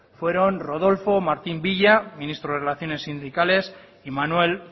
fueron rodolfo martín villa ministro de relaciones sindicales y manuel